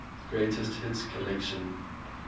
greatest hits collection